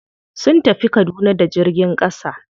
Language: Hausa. Sun tafi kaduna da jirgin ƙasa.